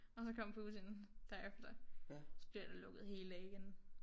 Og så kom Putin derefter så bliver der lukket helt af igen